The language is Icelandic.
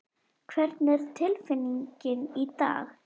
Hvernig er tilfinning í dag?